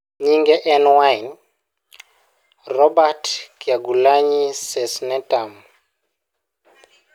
Nyinge en Wine, Robert Kyagulanyi Ssentamu.